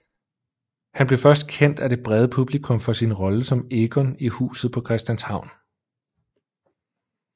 Han blev først kendt af det brede publikum for sin rolle som Egon i Huset på Christianshavn